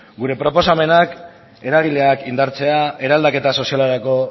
gure proposamenak eragileak indartzea eraldaketa sozialerako